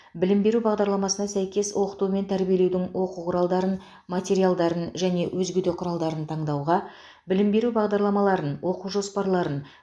білім беру бағдарламасына сәйкес оқыту мен тәрбиелеудің оқу құралдарын материалдарын және өзге де құралдарын таңдауға білім беру бағдарламаларын оқу жоспарларын